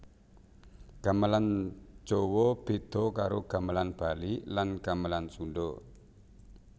Gamelan Jawa beda karo Gamelan Bali lan Gamelan Sunda